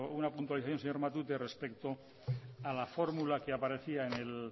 una puntualización señor matute respecto a la fórmula que aparecía